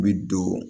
I bi don